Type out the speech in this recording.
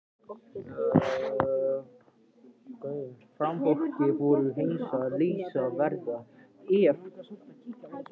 Framsóknarflokkurinn er hreinasta listaverk, ef listaverk skyldi kalla.